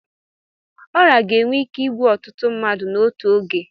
Ọrịa ga-enwe ike igbu ọtụtụ mmadụ n'otu oge.